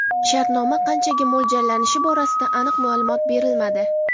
Shartnoma qanchaga mo‘ljallangani borasida aniq ma’lumot berilmadi.